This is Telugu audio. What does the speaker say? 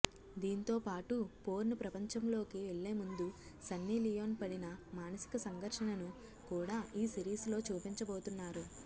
దీంతోపాటు పోర్న్ ప్రపంచంలోకి వెళ్లేముందు సన్నీలియోన్ పడిన మానసిక సంఘర్షణను కూడా ఈ సిరీస్ లో చూపించబోతున్నారు